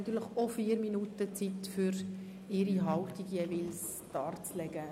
Auch sie haben 4 Minuten Zeit, um ihre Haltung darzulegen.